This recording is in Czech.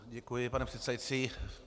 Děkuji, pane předsedající.